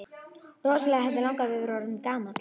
Rosalega hefði langafi verið orðinn gamall!